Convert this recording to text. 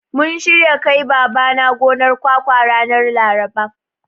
Mun shirya kai Babana gonar kwakwa ranar Laraba.